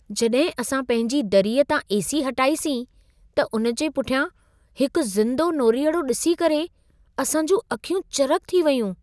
जॾहिं असां पंहिंजी दरीअ तां ए.सी. हटाईसीं, त उन जे पुठियां हिकु ज़िंदो नोरीअड़ो ॾिसी करे असां जूं अखियूं चरिख़ थी वयूं।